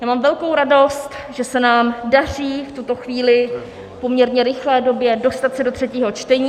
Já mám velkou radost, že se nám daří v tuto chvíli v poměrně rychlé době dostat se do třetího čtení.